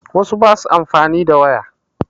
Wasu ba su amfani da waya